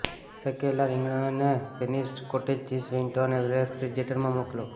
શેકેલા રીંગણા અને finished cottage cheese વીંટો અને રેફ્રિજરેટર માં મોકલો